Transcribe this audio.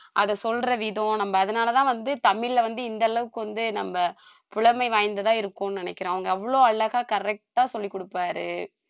அதை சொல்ற விதம் நம்ப அதனாலதான் வந்து தமிழ்ல வந்து இந்த அளவுக்கு வந்து நம்ப புலமை வாய்ந்ததா இருக்கும்னு நினைக்கிறோம் அவங்க அவ்வளவு அழகா correct ஆ சொல்லி கொடுப்பாரு